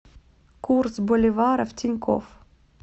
курс боливара в тинькофф